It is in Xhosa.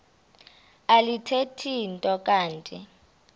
alithethi nto kanti